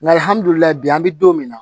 Nkalihamudulila bi an bi don min na